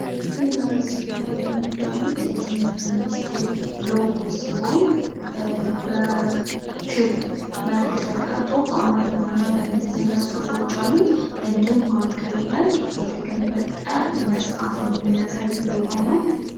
ይህ በምስሉ ላይ የምታዩት የትምህርት ሚኒስትር ሎጎ ሲሆን ፤ በክብ መልክ ተቀምጦ በአማረኛ እና በእንግሊዝኛ ጹሁፎች አሉት እንዲሁም መሃከሉ ላይ የተገለጠ መጽሃፍን የሚያሳይ ሎጎ ነው።